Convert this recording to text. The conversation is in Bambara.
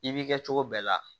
I b'i kɛ cogo bɛɛ la